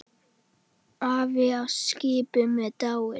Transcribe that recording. Afi á skipinu er dáinn.